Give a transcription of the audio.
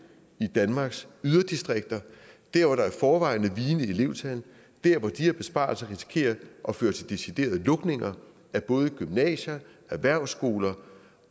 i danmarks yderdistrikter dér hvor der i forvejen er vigende elevtal dér hvor de her besparelser risikerer at føre til deciderede lukninger af både gymnasier og erhvervsskoler